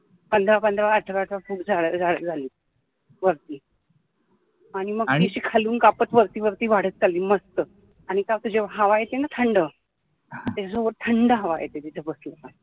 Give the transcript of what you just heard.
पंधरा पंधरा अठरा अठरा खूप झाडं झालीत वरती आणि मग ती खालून कपात वरती वरती वाढत चालली मस्त आणि काय होतं जेव्हा हवा येते ना थंड थंड हवा येते त्याचापसन